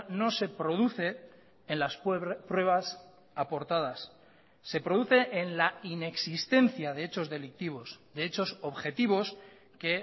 no se produce en las pruebas aportadas se produce en la inexistencia de hechos delictivos de hechos objetivos que